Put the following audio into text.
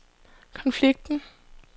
konflikten